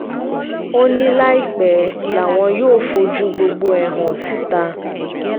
ó ní láìpẹ́ làwọn yóò fojú gbogbo ẹ̀ hàn síta